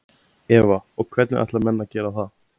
Eva: Og hvernig ætla menn að gera það?